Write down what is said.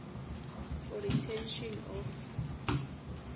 for retention of